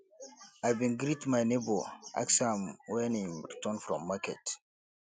i bin greet my nebo ask am wen im return from market